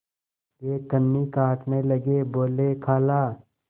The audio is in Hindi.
वे कन्नी काटने लगे बोलेखाला